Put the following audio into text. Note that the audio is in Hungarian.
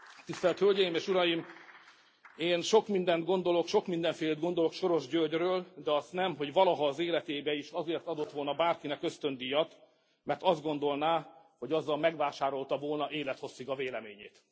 Tisztelt Hölgyeim és Uraim, én sok mindent gondolok, sok mindenfélét gondolok Soros Györgyről, de azt nem, hogy valaha az életében is azért adott volna bárkinek ösztöndíjat, mert azt gondolná, hogy azzal megvásárolta volna élethosszig a véleményét.